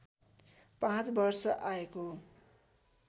पाँच वर्ष आएको